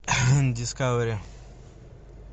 дискавери